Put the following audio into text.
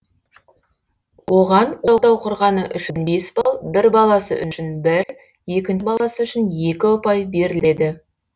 оған отау құрғаны үшін бес балл бір баласы үшін бір екінші баласы үшін екі ұпай беріледі